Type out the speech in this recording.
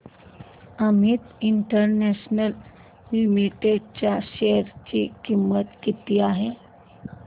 Amit international limited च्या share ची किंमत किती आहे